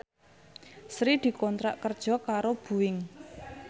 Sri dikontrak kerja karo Boeing